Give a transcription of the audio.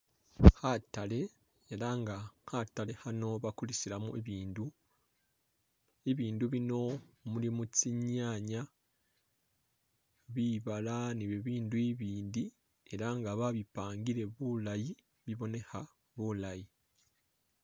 Khatale ela nga khatale khano bakulisilamu ibindu ,ibindu bino mulimo kyinyanya ,bibala ni bibindu ibindi ela nga babipangile bulayi bibonekha bulayi.